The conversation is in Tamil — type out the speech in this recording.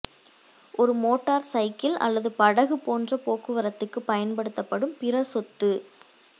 ஒரு மோட்டார் சைக்கிள் அல்லது படகு போன்ற போக்குவரத்துக்கு பயன்படுத்தப்படும் பிற சொத்து